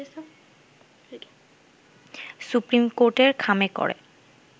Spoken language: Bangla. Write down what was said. সুপ্রিম কোর্টের খামে করে